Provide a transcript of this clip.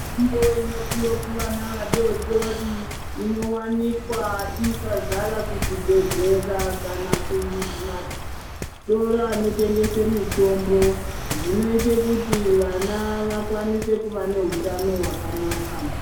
Mutombo inopiwe kuvana vadoodori inowanikwa yakazara kuzvibhedhlera kana mumatoro anotengese mitombo. Zvinoite kuti vana vakwanise kuva neutano hwakanaka.